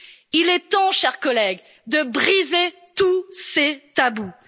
continent? Il est temps, chers collègues, de briser tous